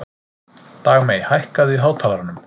Dagmey, hækkaðu í hátalaranum.